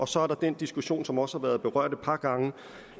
så er der den diskussion som også har været berørt et par gange